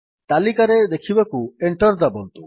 ତାଲିକାରେ ଦେଖିବାକୁ ଏଣ୍ଟର୍ ଦାବନ୍ତୁ